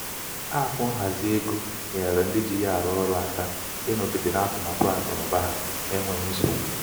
apụ ekwentị nhazi égo nyeere ndị ji ya arụ ọrụ aka ịnọgide n'atụmatụ akụnaụba ha akụnaụba ha n'enweghị nsogbu.